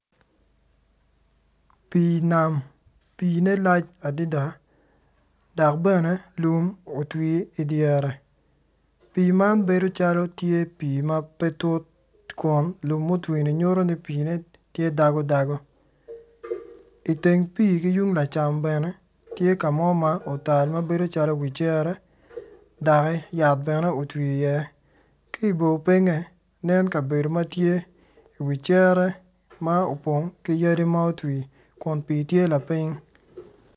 Pii nam pii-ne lac adida dok bene lum otwi idyere pii man bedo calo pii ma pe tut kun lum mu twi-ni nyuto ni pii-ne tye dago dago iteng pii ki yung lacam bene tye ka mo ma otal ma bedo calo wi cere dokki yat bene otwi iye ki i bo pinye nen kabedo ma tye i wi cere ma opng ki yadi ma otwi kun pii tye lapiny